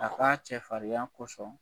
A ka cɛ farinya ko sɔn